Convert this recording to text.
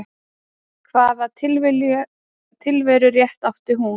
Hvaða tilverurétt átti hún?